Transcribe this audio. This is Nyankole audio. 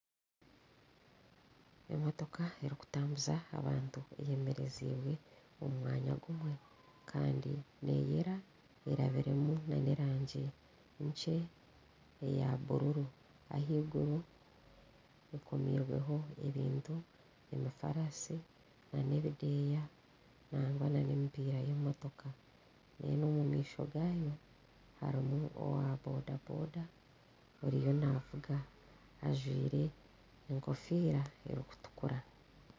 Emotooka erikutambuza abantu eyemerezibwe omu mwanya gumwe kandi neyeera erabiremu n'erangi nkye eya buruuru ahaiguru ekomirweho ebintu emifaarasi n'ebideeya nagwa n'emipiira y'emotooka kandi omu maisho harimu owa boda boda ariyo navuga ajwaire enkofiira erikutukura.